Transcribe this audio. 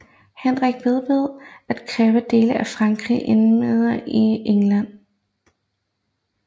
Henrik vedblev at kræve dele af Frankrig indlemmet i England